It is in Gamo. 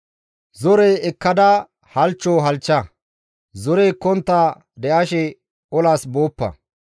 Zore ekkada halchcho halchcha; zore ekkontta de7ashe olas booppa.